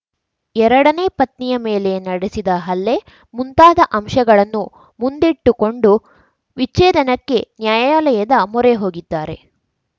ಎರಡನೇ ಪತ್ನಿಯ ಮೇಲೆ ನಡೆಸಿದ ಹಲ್ಲೆ ಮುಂತಾದ ಅಂಶಗಳನ್ನು ಮುಂದಿಟ್ಟುಕೊಂಡು ವಿಚ್ಛೇದನಕ್ಕೆ ನ್ಯಾಯಾಲಯದ ಮೊರೆ ಹೋಗಿದ್ದಾರೆ